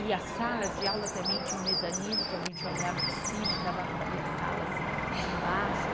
E as salas de aula também tinham mezanino, que a gente olhava de cima, dava para ver as salas embaixo.